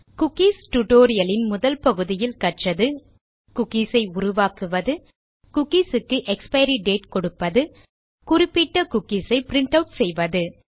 cookie tutorial இன் முதல் பகுதியில் கற்றது குக்கீஸ் ஐ உருவாக்குவது குக்கி க்கு எக்ஸ்பைரி டேட் கொடுப்பது குறிப்பிட்ட குக்கீஸ் ஐ பிரின்ட் ஆட் செய்வது